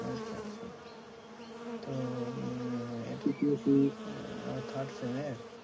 আচ্ছা আচ্ছা, তো উম ও third sem এর?